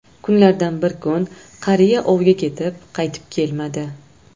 Kunlardan bir kun qariya ovga ketib, qaytib kelmadi.